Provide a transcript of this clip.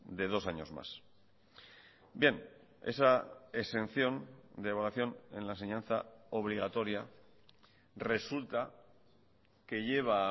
de dos años más bien esa exención de evaluación en la enseñanza obligatoria resulta que lleva a